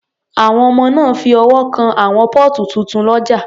Àwọn ọmọ náà fi ọwọ́ kan àwọn póòtù tuntun lọ́jà